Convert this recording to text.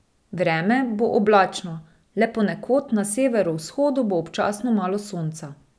Vreme bo oblačno, le ponekod na severovzhodu bo občasno malo sonca.